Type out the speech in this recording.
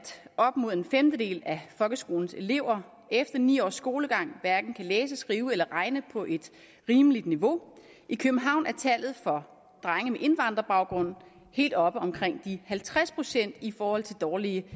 op mod en femtedel af folkeskolens elever efter ni års skolegang hverken kan læse skrive eller regne på et rimeligt niveau i københavn er tallet for drenge med indvandrerbaggrund helt oppe omkring de halvtreds procent i forhold til dårlige